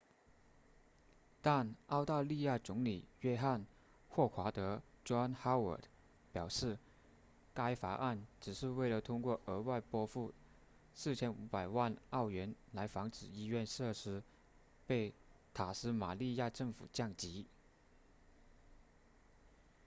但澳大利亚总理约翰•霍华德 john howard 表示该法案只是为了通过额外拨付4500万澳元来防止医院设施被塔斯马尼亚政府降级